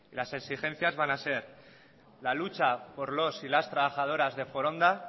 las exigencias van a ser la lucha por los y las trabajadoras de foronda